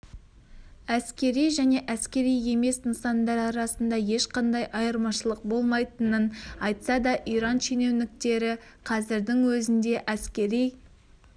әскери және әскери емес нысандар арасында ешқандай айырмашылық болмайтынын айтса да иран шенеуніктері қазірдің өзінде әскери